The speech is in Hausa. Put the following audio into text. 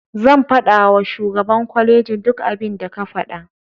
Zan faɗawa shugaban kwalejin duk abinda ka faɗa.